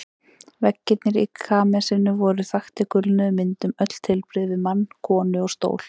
Veggirnir í kamesinu voru þaktir gulnuðum myndum, öll tilbrigði við mann, konu og stól.